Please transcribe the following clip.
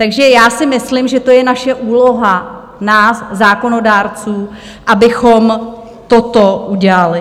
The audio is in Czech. Takže já si myslím, že to je naše úloha nás zákonodárců, abychom toto udělali.